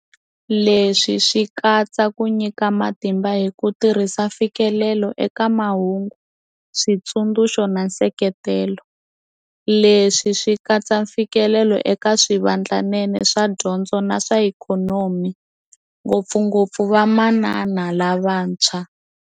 Leswi swi katsa ku nyika matimba hi ku tirhisa mfikelelo eka mahungu, switsundzuxo na nseketelo. Leswi swi katsa mfikelelo eka swivandlanene swa dyondzo na swa ikhonomi, ngopfungopfu vamanana lavantshwa.